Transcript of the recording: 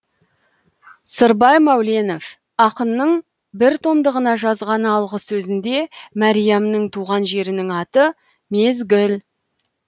сырбай мәуленов ақынның бір томдығына жазған алғы сөзінде мәриямның туған жерінің аты мезгіл